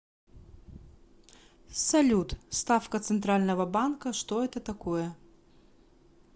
салют ставка центрального банка что это такое